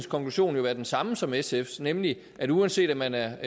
konklusion jo være den samme som sfs nemlig at uanset om man er